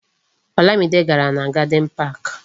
Olamide gàrà na Garden Park